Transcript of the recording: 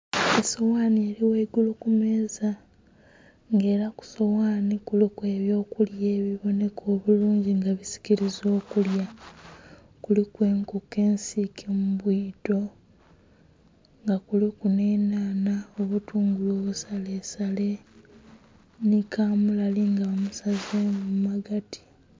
Esoghanhi eli ghaigulu kumeza nga era kusoghanhi kuliku ebyokulya ebibonheka obulunji nga bisikiliza okulya, kuliku enkoko esike mubwito nga kuliku nhe nhanha, obutungulu obusale sale nhi kamulali nga musazemu mumagati.